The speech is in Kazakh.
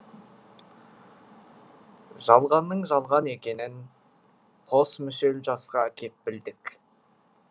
жалғанның жалған екенін қос мүшел жасқа кеп білдік